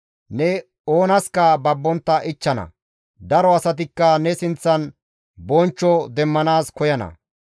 Ne oonaska babbontta ichchana; daro asatikka ne sinththan bonchcho demmanaas koyana.